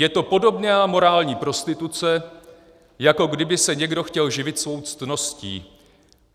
Je to podobná morální prostituce, jako kdyby se někdo chtěl živit svou ctností.